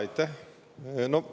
Aitäh!